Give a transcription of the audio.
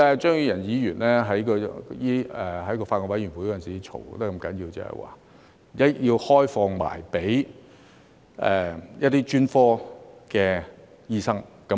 張宇人議員在法案委員會上吵得那麼要緊，就是希望開放予專科醫生。